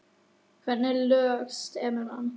En hvernig lög semur hann?